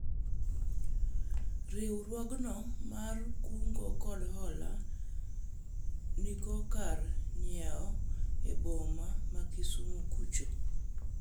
riwruogno mar kungo kod hola niko kar nyiewo e boma ma kisuomo kucho